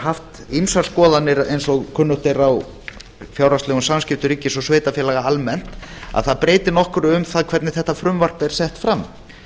haft ýmsar skoðanir eins og kunnugt er á fjárhagslegum samskiptum ríkis og sveitarfélaga almennt að það breyti nokkru um það hvernig þetta frumvarp er sett fram